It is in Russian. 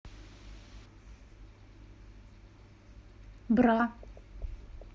бра